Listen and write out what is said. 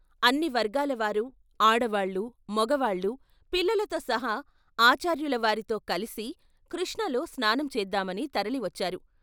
అన్ని వర్గాలవారు, ఆడవాళ్లు, మొగవాళ్ళు, పిల్లలతో సహా ఆచార్యుల వారితో కలిసి కృష్ణలో స్నానం చేద్దామని తరలివచ్చారు.